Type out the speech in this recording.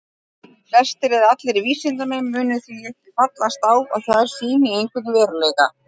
Flestir eða allir vísindamenn munu því ekki fallast á að þær sýni einhvern veruleika.